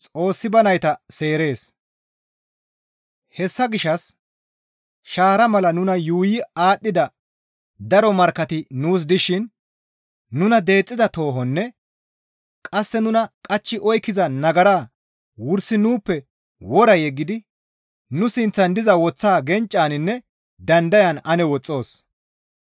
Hessa gishshas shaara mala nuna yuuyi aadhdhida daro markkati nuus dishin nuna deexxiza toohonne qasse nuna qachchi oykkiza nagara wursi nuuppe wora yeggidi nu sinththan diza woththaa genccaninne dandayan ane woxxoos.